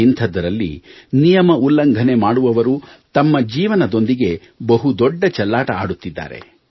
ಇಂಥದ್ದರಲ್ಲಿ ನಿಯಮ ಉಲ್ಲಂಘನೆ ಮಾಡುವವರು ತಮ್ಮ ಜೀವನದೊಂದಿಗೆ ಬಹು ದೊಡ್ಡ ಚೆಲ್ಲಾಟ ಆಡುತ್ತಿದ್ದಾರೆ